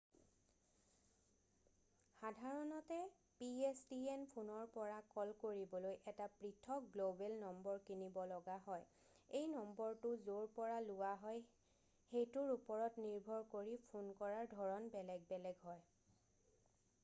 সাধাৰণতে pstn ফোনৰ পৰা কল কৰিবলৈ এটা পৃথক গ্ল'বেল নম্বৰ কিনিব লগা হয় এই নম্বৰটো য'ৰ পৰা লোৱা হয় সেইটোৰ ওপৰত নিৰ্ভৰ কৰি ফোন কৰাৰ ধৰণ বেলেগ বেলেগ হয়